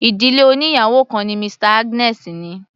Ìdílé oníyàwò kan ni Mr Agnes ní.